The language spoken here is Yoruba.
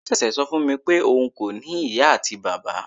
Tolu sese sọ fún mi pé òun kò ní ìyá àti bàbá.